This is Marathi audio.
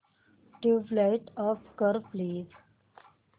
ट्यूबलाइट ऑफ कर प्लीज